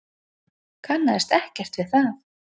Kannaðist ekkert við það.